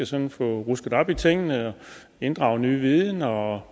sådan skal have rusket op i tingene inddrage ny viden og